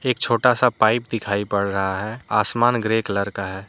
एक छोटा सा पाइप दिखाई पड़ रहा है आसमान ग्रे कलर का है।